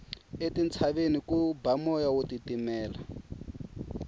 etintshaveni ku ba moya wo titimela